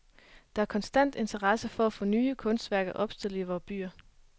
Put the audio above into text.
Der er en konstant interesse for at få nye kunstværker opstillet i vore byer.